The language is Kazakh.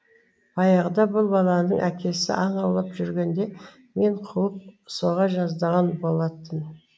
баяғыда бұл баланың әкесі аң аулап жүргенде мені қуып соға жаздаған болатын